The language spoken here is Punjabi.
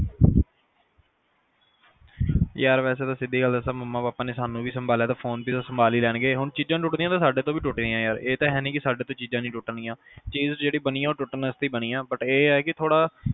ਯਾਰ ਵੈਸੇ ਤਾਂ ਸਿੱਧੀ ਗੱਲ ਦਸਾ ਤਾ ਮੰਮੀ ਪਾਪਾ ਸਾਨੂੰ ਵੀ ਤਾਂ ਸੰਭਾਲਿਆ ਤਾਂ ਫ਼ੋਨ ਵੀ ਤਾਂ ਸੰਭਾਲ ਹੀ ਲੈਣਗੇ ਹੁਣ ਚੀਜ਼ਾਂ ਟੁੱਟਣੀਆਂ ਤਾਂ ਸਾਡੇ ਤੋਂ ਵੀ ਟੁੱਟਣੀਆਂ ਹੀ ਆ ਇਹ ਤਾ ਹੈ ਨਹੀਂ ਵੀ ਸਾਡੇ ਤੋਂ ਚੀਜ਼ਾਂ ਨਹੀਂ ਟੁੱਟਣ ਗੀਆਂ ਚੀਜ਼ ਜਿਹੜੀ ਬਣੀ ਆ ਉਹ ਟੁੱਟਣ ਆਸਤੇ ਬਣੀ ਆ but ਇਹ ਆ ਕੇ ਥੋੜਾ